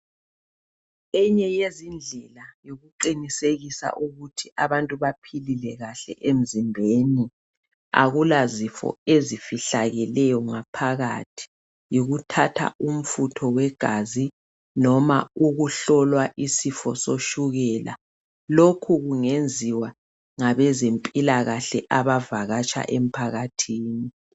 Enye yezindlela yokuqinisekisa ukuthi abantu baphilile kahle emzimbeni akulazifo ezifihlakeleyo ngaphakathi. Yikuthatha umfutho wegazi noma ukuhlola isifo setshukela lokhu kungenziwa ngabezempilakahle abavakatsha emphakathini.